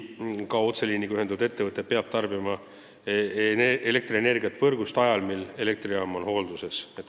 Ka otseliiniga ühendatud ettevõte peab siis, kui elektrijaam on hoolduses, elektrienergiat võrgust saama.